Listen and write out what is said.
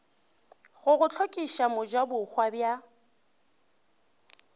go go hlokiša mojabohwa bja